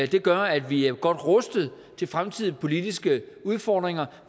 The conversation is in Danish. det gør at vi er godt rustet til fremtidens politiske udfordringer